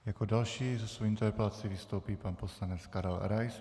Jako další se svou interpelací vystoupí pan poslanec Karel Rais.